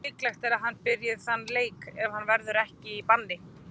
Líklegt er að hann byrji þann leik ef hann verður ekki í banni.